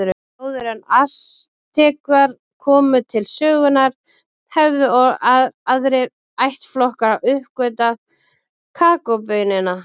Áður en Astekar komu til sögunnar höfðu aðrir ættflokkar uppgötvað kakóbaunina.